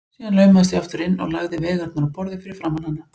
Síðan laumaðist ég aftur inn og lagði veigarnar á borðið fyrir framan hana.